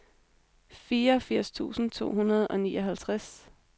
fireogfirs tusind to hundrede og nioghalvtreds